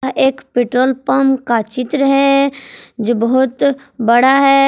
यह एक petrol pump का चित्र है जो बहुत बड़ा है।